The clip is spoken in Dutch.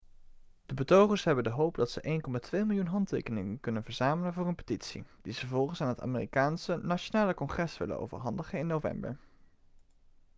de betogers hebben de hoop dat ze 1,2 miljoen handtekeningen kunnen verzamelen voor hun petitie die ze vervolgens aan het amerikaanse nationale congres willen overhandigen in november